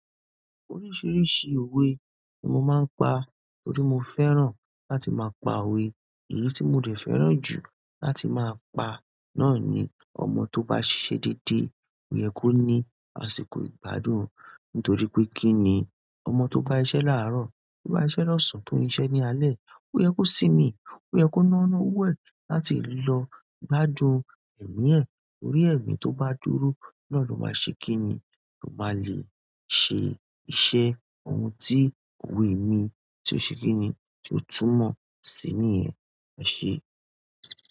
Oríṣiríṣi òwe mo máa ń pa torí mo fẹ́ràn láti máa pa òwe. Èyí tí mo dẹ̀ fẹ́ràn jù láti máa pa náà ni "Ọmọ tó bá ṣiṣẹ́ dédé ò yẹ kó ní àsìkò ìgbádùn." Nítorí pé kí ni? Ọmọ tó bá iṣẹ́ láàárọ̀, tó bá iṣẹ́ lọ́sàn-án tó ń iṣẹ́ ní alẹ́, ò yẹ kó simi, ò yẹ kó nánú owo ẹ̀ láti lọ gbádùn ẹ̀mí ẹ. Nítorí ẹ̀mí tó bá dúró náà ló máa ṣe kí ni? Ó máa le ṣe iṣẹ́ ohun tí òwe mi tí ó ṣe kí ni? Ti o túmọ̀ si nìyẹn ẹ̀ṣe.